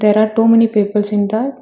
There are too many peoples in that --